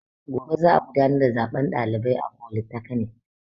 Gobe za a gudanar da zaben ɗalibai a folitakanik